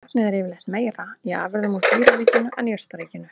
Magnið er yfirleitt meira í afurðum úr dýraríkinu en jurtaríkinu.